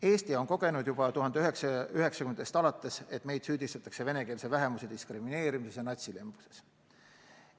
Eesti on kogenud juba 1990. aastatest alates, et meid süüdistatakse venekeelse vähemuse diskrimineerimises ja natsilembuses.